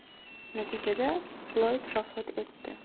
Natijada Floyd vafot etdi.